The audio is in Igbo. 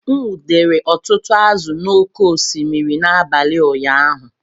M nwudere ọtụtụ azụ̀ n’oké osimiri n’abalị ụnyaahụ